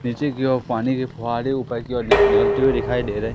नीचे की ओर पानी के फुहाड़े ऊपर की ओर नि निकलते हुए डिखाई दे रहे--